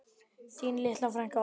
Þín litla frænka, Oddný.